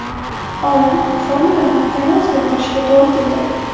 Olim formulani yana o‘zgartirishiga to‘g‘ri keldi.